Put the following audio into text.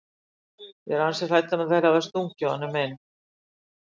Ég er ansi hrædd um að þeir hafi stungið honum inn.